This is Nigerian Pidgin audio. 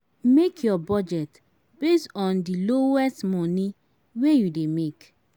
Make your budget based on di lowest money wey you dey make